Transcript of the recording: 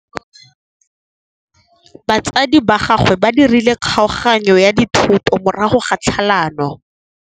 Batsadi ba gagwe ba dirile kgaoganyô ya dithoto morago ga tlhalanô.